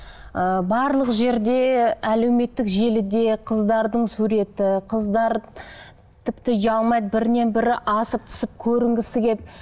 ыыы барлық жерде әлеуметтік желіде қыздардың суреті қыздар тіпті ұялмайды бірінен бірі асып түсіп көрінгісі келіп